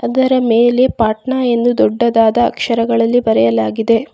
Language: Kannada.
ಇದರ ಮೇಲೆ ಪಾಟ್ನ ಎಂದು ದೊಡ್ಡದಾದ ಅಕ್ಷರಗಳಲ್ಲಿ ಬರೆಯಲಾಗಿದೆ.